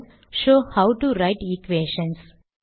shows how to write equations